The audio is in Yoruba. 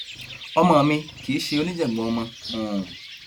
ọmọ mi kì í ṣe oníjàngbọn ọmọ um